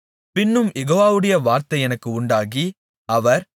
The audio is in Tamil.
பின்னும் யெகோவாவுடைய வார்த்தை எனக்கு உண்டாகி அவர்